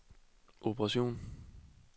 operation